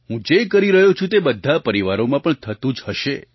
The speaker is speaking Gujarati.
હું જે કરી રહ્યો છું તે બધા પરિવારોમાં પણ થતું જ હશે